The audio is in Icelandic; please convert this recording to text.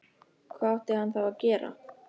Hvað átti hann þá að gera?